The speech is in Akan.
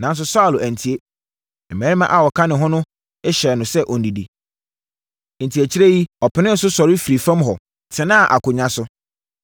Nanso, Saulo antie. Mmarima a wɔka ne ho no hyɛɛ no sɛ ɔnnidi. Enti, akyire yi, ɔpenee so sɔre firi fam hɔ, tenaa akonnwa so.